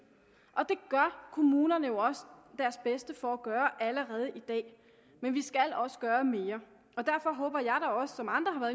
og det gør kommunerne jo også deres bedste for at gøre allerede i dag men vi skal også gøre mere og derfor håber jeg også som andre har